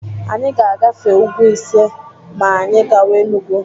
Anyị ga-agafe úgwú ise ma anyị gawa Enugu.